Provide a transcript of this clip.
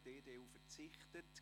Die EDU verzichtet.